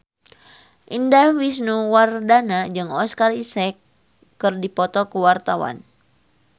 Indah Wisnuwardana jeung Oscar Isaac keur dipoto ku wartawan